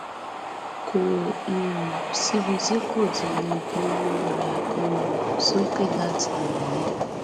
kò um síbi tí kò ti lè gbowó rẹ um sókè láti lù mí